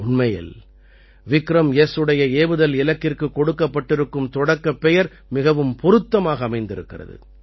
உண்மையில் விக்ரம்எஸ் உடைய ஏவுதல் இலக்கிற்கு கொடுக்கப்பட்டிருக்கும் தொடக்கப் பெயர் மிகவும் பொருத்தமாக அமைந்திருக்கிறது